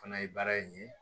Fana ye baara in ye